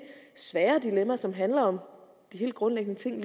svære dilemma som handler om de helt grundlæggende ting